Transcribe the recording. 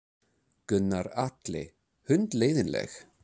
Gunnar Atli: Hundleiðinleg?